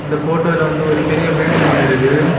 இந்த போட்டோல வந்து ஒரு பெரிய பில்டிங் ஒன்னு இருகு.